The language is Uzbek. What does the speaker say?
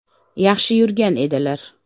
Yaxshi yurgan edilar.